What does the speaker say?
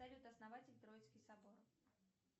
салют основатель троицкий собор